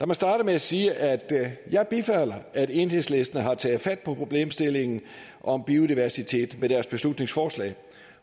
mig starte med at sige at jeg bifalder at enhedslisten har taget fat på problemstillingen om biodiversitet med deres beslutningsforslag